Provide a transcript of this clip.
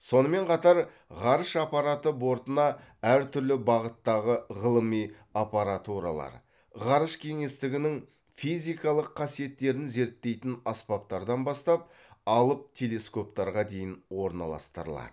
сонымен қатар ғарыш аппараты бортына әр түрлі бағыттағы ғылыми аппаратуралар ғарыш кеңістігінің физикалық қасиеттерін зерттейтін аспаптардан бастап алып телескоптарға дейін орналастырылады